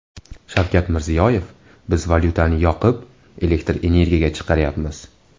Shavkat Mirziyoyev: Biz valyutani yoqib, elektr energiya chiqaryapmiz .